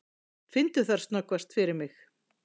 Finndu þær snöggvast fyrir mig.